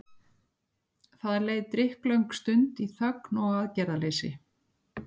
Það leið drykklöng stund í þögn og aðgerðaleysi.